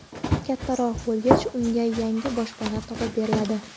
Kattaroq bo‘lgach, unga yangi boshpana topib beriladi.